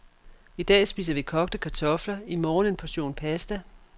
I dag spiser vi kogte kartofler, i morgen en portion pasta.